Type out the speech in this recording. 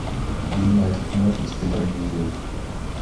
юнайтед мюнхенская трагедия